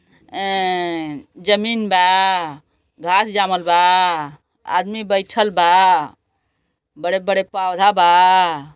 ऐं जमीन बा घास जामल बा आदमी बैठल बा बड़े-बड़े पौधा बा।